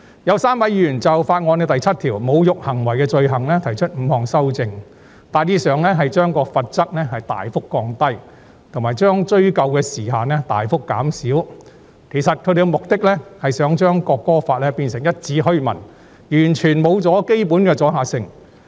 有3位議員就《條例草案》第7條有關"侮辱行為的罪行"提出5項修正案，大致上旨在把罰則大幅降低，以及把追溯期大幅縮短。他們的目的其實是想把《條例草案》變成一紙虛文，完全失去基本阻嚇性。